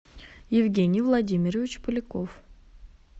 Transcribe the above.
евгений владимирович поляков